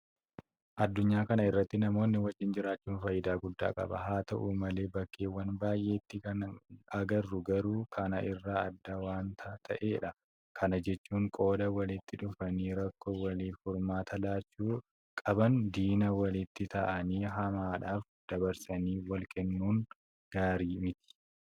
Addunyaa kana irratti namoonni wajjin jiraachuun faayidaa guddaa qaba. Haa ta'u malee bakkeewwan baay'eetti kan agarru garuu kana irraa adda waanta ta'edha. Kana jechuun qooda walitti dhufanii rakkoo waliitiif furmaata laachuu qaban diina walitti ta'anii hamaadhaaf dabarsanii walkennuun gaarii miti.